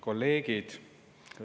Kolleegid!